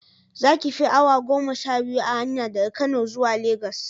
Za ki fi awa goma sha biyu a hanya daga Kano zuwa Legas